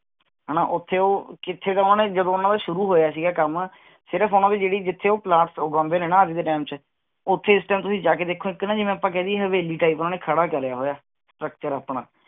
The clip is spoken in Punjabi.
ਹਨਾ ਉਥੇ ਉਹ ਕਿਥੇ ਤਾਂ ਉਹਨੇ ਜਦੋਂ ਉਹਨਾਂ ਦਾ ਸ਼ੁਰੂ ਹੋਇਆ ਸੀਗਾ ਕੰਮ ਸਿਰਫ ਉਨ੍ਹਾਂਦੇ ਜਿਹੜੀ ਜਿਥੇ ਉਹ plants ਉਗੰਦੇ ਨੇ ਨਾ ਅੱਜ ਦੇ ਟਾਈਮ ਚ ਓਥੇ ਇਸ ਟਾਈਮ ਤੁਸੀਂ ਜਾ ਕੇ ਦੇਖੋ ਇਕ ਨਾ ਜਿਵੇਂ ਆਪਾਂ ਕਹਿ ਦਈਏ ਹਵੇਲੀ type ਉਹਨੇ ਖੜਾ ਕਰਾਇਆ ਹੋਇਆ structure ਆਪਣਾ